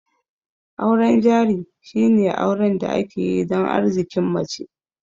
Auren jari shine auren da ake yi dan Arzikin mace